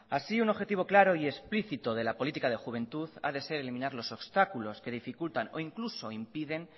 así un objetivo claro y explícito de la política de juventud ha de ser eliminar los obstáculos que dificultan o incluso impiden